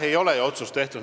Ei ole veel otsust tehtud.